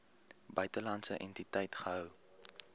buitelandse entiteit gehou